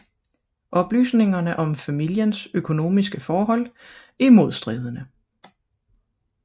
Oplysningerne om familiens økonomiske forhold er modstridende